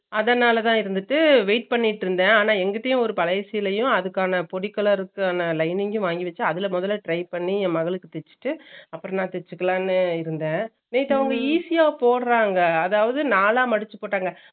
அதனாலத இருந்துட்டு wait பண்ணிட்டு இருந்தேன் ஆனா எங்கடயும் அவர் கடைசிலயும் அதுக்கான பொடிக் colour க்கான lining வாங்கி வெச்சு அதுல முதல try பண்ணி என் மகளுக்கு தேச்சிட்டு அப்பறமா தேச்சிக்கலாம்னு இருந்தேன் easy யா போடுறாங்க அதாவது நாளா மதுச்சு போட்டாங்க